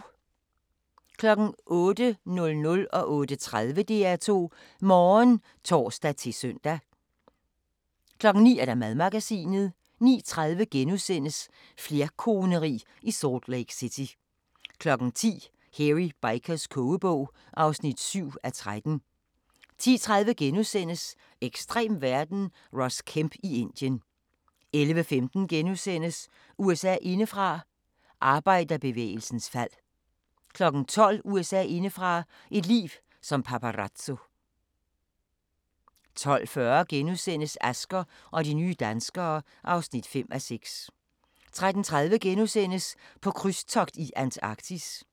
08:00: DR2 Morgen (tor-søn) 08:30: DR2 Morgen (tor-søn) 09:00: Madmagasinet 09:30: Flerkoneri i Salt Lake City * 10:00: Hairy Bikers kogebog (7:13) 10:30: Ekstrem verden – Ross Kemp i Indien * 11:15: USA indefra: Arbejderbevægelsens fald (8:8)* 12:00: USA indefra: Et liv som paparazzo 12:40: Asger og de nye danskere (5:6)* 13:30: På krydstogt i Antarktis *